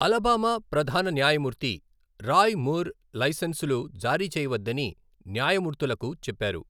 Alabama ప్రధాన న్యాయమూర్తి Roy Moore లైసెన్సులు జారీ చేయవద్దని న్యాయమూర్తులకు చెప్పారు.